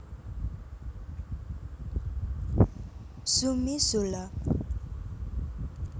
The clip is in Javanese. Zumi Zola